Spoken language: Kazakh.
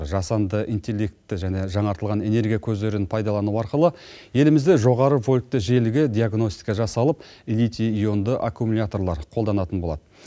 жасанды интеллектті және жаңартылған энергия көздерін пайдалану арқылы елімізде жоғары вольтты желіге диагностика жасалып литий ионды аккумуляторлар қолданатын болады